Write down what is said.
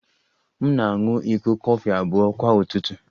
M na-aṅụ iko kọfị abụọ kwa ụtụtụ